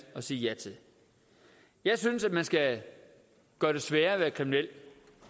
at sige ja til jeg synes at man skal gøre det sværere at være kriminel